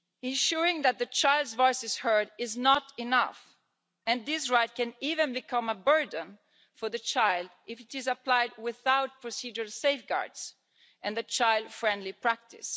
Ensuring that the child's voice is heard is not enough and this right can even become a burden for the child if it is applied without procedural safeguards and a child friendly practice.